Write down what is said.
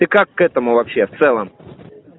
ты как к этому вообще в целом